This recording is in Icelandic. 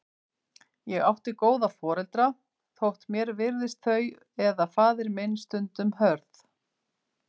Ég átti góða foreldra, þótt mér virtist þau eða faðir minn stundum hörð.